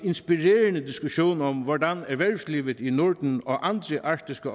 inspirerende diskussion om hvordan erhvervslivet i norden og andre arktiske